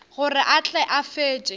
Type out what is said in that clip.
gore a tle a fetše